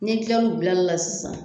N'i til'u bilali la sisan